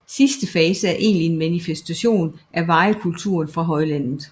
Sidste fase er egentlig en manifestation af warikulturen fra højlandet